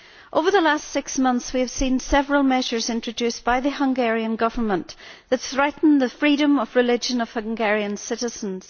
Over the last six months we have seen several measures introduced by the Hungarian Government which threaten the freedom of religion of Hungarian citizens.